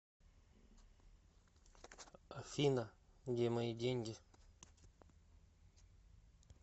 афина где мои деньги